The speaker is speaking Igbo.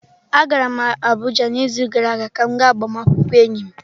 Agara m Abuja n'izu gara aga ka m gaa agbamakwụkwọ enyi m.